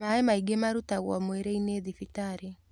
Maĩmaingĩmarutagwo mwĩrĩ-inĩthibitarĩ.